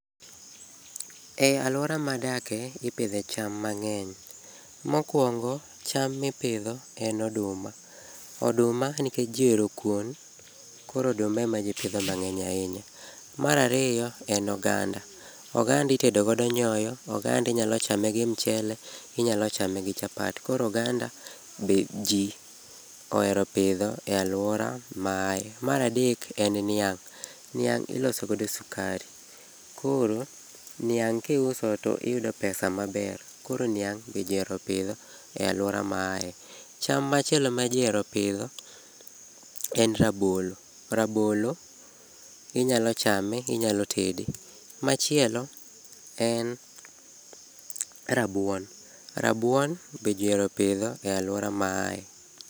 E alwora madake ipidhe cham mang'eny, mokwongo en oduma. Oduma nikech ji ohero kuon, koro oduma ema ji pidho mang'eny ahinya. Mar ariyo en oganda. Oganda itedo godo nyoyo, oganda inyalo chame gi mchele, inyalo chame gi chapat. Koro oganda be ji ohero pidho e alwora ma aye. Mar adek en niang'. Niang' iloso godo sukari, koro niang' kiuso to iyudo pesa maber. Koro niang' be ji ohero pidho e alwora ma aye. Cham machielo ma ji ohero pidho en rabolo. Rabolo inyalo chame, inyalo tefe. Machielo en rabuon. Rabuon be ji ohero pidho e alwora ma aye.